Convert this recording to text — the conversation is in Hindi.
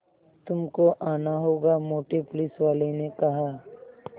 तुमको आना होगा मोटे पुलिसवाले ने कहा